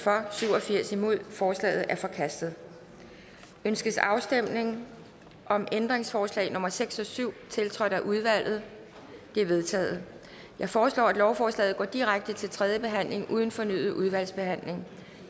syv og firs forslaget er forkastet ønskes afstemning om ændringsforslag nummer seks og syv tiltrådt af udvalget de er vedtaget jeg foreslår at lovforslaget går direkte til tredje behandling uden fornyet udvalgsbehandling